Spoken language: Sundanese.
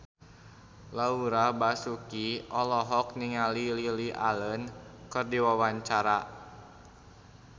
Laura Basuki olohok ningali Lily Allen keur diwawancara